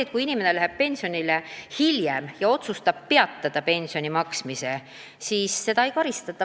Ja kui inimene läheb pensionile pensioniea saabumisest hiljem ja otsustab mitte hakata kohe pensioni saama, siis seda ei karistata.